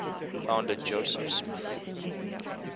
founder joseph smith